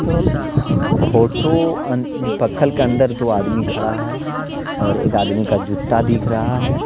Photo पखल के अंदर दो आदमी खड़ा हे और एक आदमि का जूता दिख रहा है.